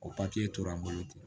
O papiye tora an bolo ten